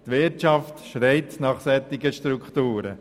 Die Wirtschaft schreit nach solchen Strukturen.